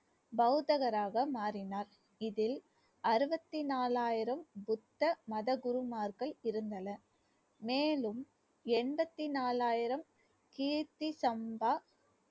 பௌத்தராக மாறினார் இதில் அறுவத்தி நாலாயிரம் புத்த மத குருமார்கள் இருந்தனர் மேலும் எண்பத்தி நாலாயிரம் கீர்த்தி சம்பா